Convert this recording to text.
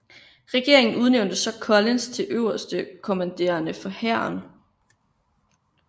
Regeringen udnævnte så Collins til øverstkommanderende for hæren